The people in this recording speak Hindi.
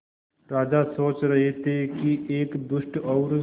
राजा सोच रहे थे कि एक दुष्ट और